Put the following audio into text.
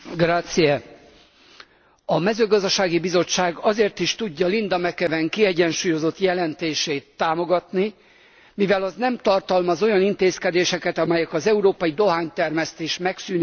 A Mezőgazdasági Bizottság azért is tudja Linda McAvan kiegyensúlyozott jelentését támogatni, mivel az nem tartalmaz olyan intézkedéseket, amelyek az európai dohánytermesztés megszűnéséhez vezetnének.